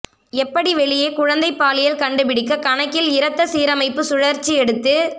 எப்படி வெளியே குழந்தை பாலியல் கண்டுபிடிக்க கணக்கில் இரத்த சீரமைப்பு சுழற்சி எடுத்து